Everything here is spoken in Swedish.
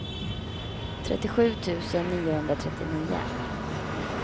trettiosju tusen niohundratrettionio